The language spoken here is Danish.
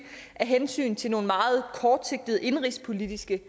af hensyn til nogle meget kortsigtede indenrigspolitiske